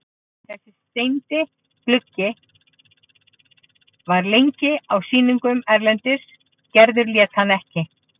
Þessi steindi gluggi var lengi á sýningum erlendis og Gerður lét hann ekki.